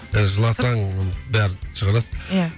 жыласаң бәрін шығарасың иә